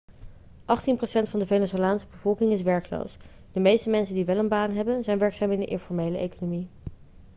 achttien procent van de venezolaanse bevolking is werkloos de meeste mensen die wel een baan hebben zijn werkzaam in de informele economie